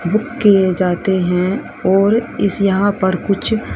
book किए जाते हैं और इस यहां पर कुछ--